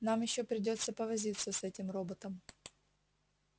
нам ещё придётся повозиться с этим роботом